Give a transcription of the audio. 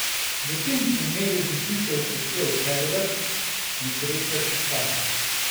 V tem primeru bi prišel v poštev Herbert, nesreča ti taka.